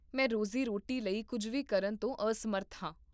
ਮੈਂ ਰੋਜ਼ੀ ਰੋਟੀ ਲਈ ਕੁੱਝ ਵੀ ਕਰਨ ਤੋਂ ਅਸਮਰੱਥ ਹਾਂ